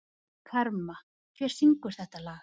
Karma, hver syngur þetta lag?